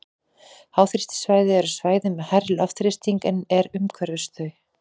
Háþrýstisvæði eru svæði með hærri loftþrýsting en er umhverfis þau.